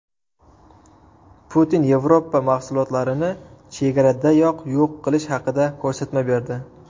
Putin Yevropa mahsulotlarini chegaradayoq yo‘q qilish haqida ko‘rsatma berdi.